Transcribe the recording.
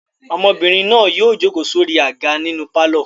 Ọmọbìnrin náà yóò jókòó sórí àga nínú pálọ̀.